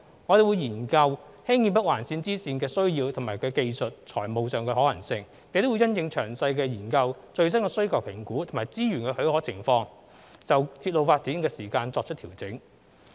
我們會研究興建北環綫支綫的需要及其技術與財務可行性，並會因應詳細研究、最新需求評估及資源的許可情況，就鐵路發展時間表作出調整。